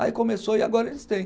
Aí começou e agora eles têm.